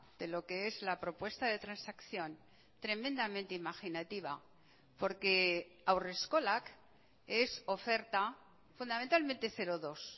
de lo que es la propuesta de transacción tremendamente imaginativa porque haurreskolak es oferta fundamentalmente cero dos